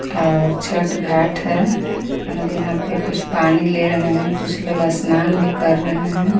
और छट घाट है और यहां पे कुछ पानी ले रहे हैं कुछ लोग सनान भी कर रहे है.